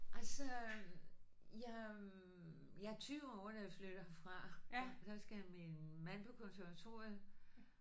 Altså jeg jeg er 20 år da jeg flytter herfra så skal min mand på konservatoriet